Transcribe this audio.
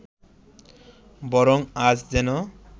বরং আজ যেন